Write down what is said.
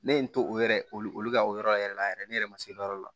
Ne ye n to o yɛrɛ olu ka o yɔrɔ yɛrɛ la yɛrɛ ne yɛrɛ ma se o yɔrɔ la